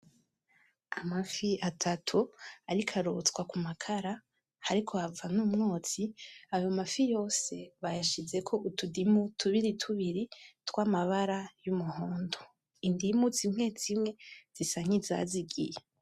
Amafi atatu ariko arotswa ku makara, hariko hava n'umwotsi, ayo mafi yose bayashizeko utudimu tubiri tubiri tw'amabara y'umuhondo. Indimu zimwe zimwe zisa nkizazigiye.